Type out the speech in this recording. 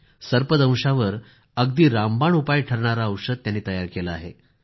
सर्पदंशावर अगदी रामबाण उपाय ठरणारे औषध त्यांनी तयार केलं आहे